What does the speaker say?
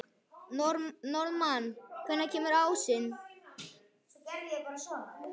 Norðmann, hvenær kemur ásinn?